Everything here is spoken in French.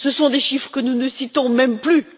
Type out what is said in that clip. Ce sont des chiffres que nous ne citons même plus!